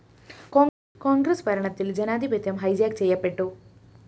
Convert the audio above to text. കോണ്‍ഗ്രസ് ഭരണത്തില്‍ ജനാധിപത്യം ഹൈജാക്ക് ചെയ്യപ്പെട്ടു